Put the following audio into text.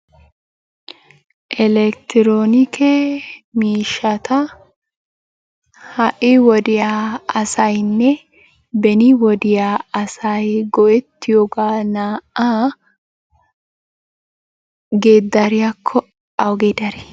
Elekktiroonike miishshata ha'i wodiya asayinne beni wodiya asay go'ettiyogaa naa"aa geeddariyakko awugee darii?